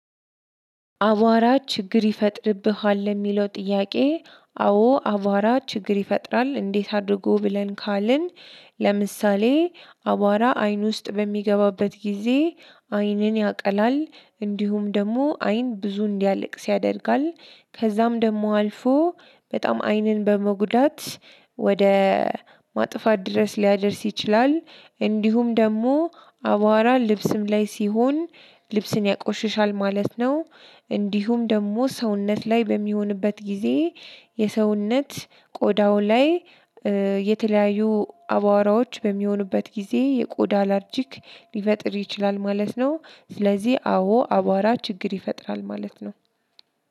አቧራ ችግር ይፈጥርብሃል ለሚለው ጥያቄ? አዎ አቧራ ችግር ይፈጥራል እንዴት አድርጎ ብለን ካልን። ለምሳሌ አቧራ አይን ውስጥ በሚገባበት ጊዜ አይንን ያቀላል እንዲሁም ደግሞ አይን ብዙ እንዲያለቅስ ያደርጋል። ከዛም ደግሞ አልፎ በጣም አይንን በመጉዳት ወደ ማጥፋት ድረስ ሊያደርስ ይችላል። እንዲሁም ደግሞ አቧራ ልብስም ላይ ሲሆን ልብስን ያቆሽሻል ማለት ነው። እንዲሁም ደግሞ ሰውነት ላይ በሚሆንበት ጊዜ የሰውነት ቆዳው ላይ የተለያዩ አቧራዎች በሚሆኑበት ጊዜ የቆዳ አላርጂክ ሊፈጥር ይችላል ማለት ነው። ስለዚህ አዎ አቧራ ችግር ይፈጥራል ማለት ነው።